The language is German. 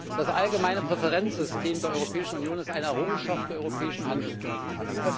Das allgemeine Präferenzsystem der Europäischen Union ist eine Errungenschaft der europäischen Handelspolitik.